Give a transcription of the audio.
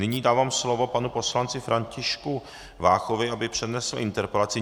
Nyní dávám slovo panu poslanci Františku Váchovi, aby přednesl interpelaci.